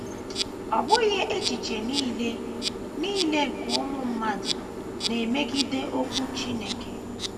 Ọ bụghị echiche nile nile nke ụmụ mmadụ na - emegide Okwu Chineke.